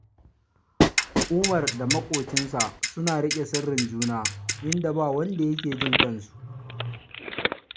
Umar da maƙocinsa suna riƙe sirrin juna, inda ba wanda yake jin tsakaninsu